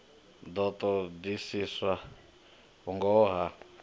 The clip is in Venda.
ḓo ṱo ḓisiswa vhungoho ha